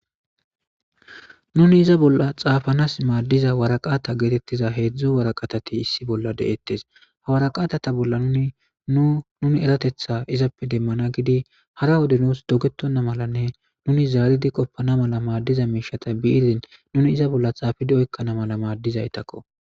Nuni iza bolla xaafanas maaddiza waraqata geetettiza heedzdzu waraqatati issi bolla de7ettes hawaraqaatata bolla nuinu nuni eratetha izappe demmana gidi hara wode nuus dogetonna malanne nuni zaaridi qoppana mala maaddiza miishata biirin nuni iza bolla xaafidi oykkana mala maaddizaytakko.